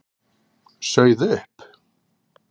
Sauð upp.